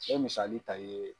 N be misali ta i ye